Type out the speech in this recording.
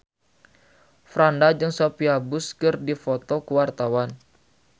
Franda jeung Sophia Bush keur dipoto ku wartawan